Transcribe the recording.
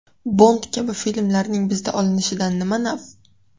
Bond kabi filmlarning bizda olinishidan nima naf?